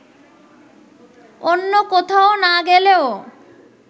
অন্য কোথাও না গেলেও